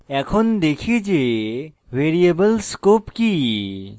এখন দেখি যে ভ্যারিয়েবল scope কি